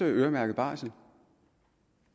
øremærket barsel